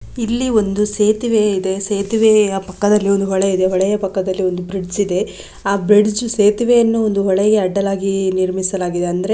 ಇಲ್ಲಿ ಒಂದು ಸೇತುವೆ ಇದೆ ಸೇತುವೆಯ ಪಕ್ಕದಲ್ಲಿ ಒಂದು ಹೊಳೆ ಇದೆ ಹೊಳೆಯ ಪಕ್ಕದಲ್ಲಿ ಒಂದು ಬ್ರಿಡ್ಜ ಇದೆ ಆ ಬ್ರಿಡ್ಜ ಸೇತುವೆಯನ್ನು ಒಂದು ಹೊಳೆಗೆ ಅಡ್ಡಲಾಗಿ ನಿರ್ಮಿಸಲಾಗಿದೆ ಅಂದ್ರೆ --